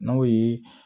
N'o ye